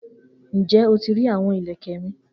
Njẹ o ti ri awọn ilẹkẹ mi?